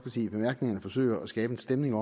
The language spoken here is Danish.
i bemærkningerne forsøger at skabe en stemning